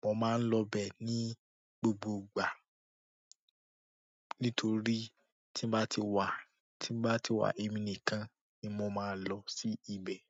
Mo máa ń lọ bẹ́ ní gbogbo ìgbà. Nítorí tí bá ti wà, tí bá ti wà ẹmi nìkan ni mo máa lọ sí ibẹ̀.